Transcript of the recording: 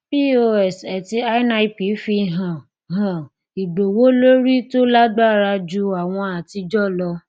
pos àti nip fi hàn hàn ìgbówólórí tó lágbára ju àwọn àtijọ lọ